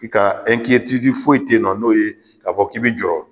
I ka e foyi tɛ yen nɔ k'a fɔ k'i bɛ jɔrɔ.